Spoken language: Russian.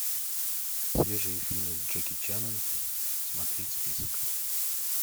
свежие фильмы с джеки чаном смотреть список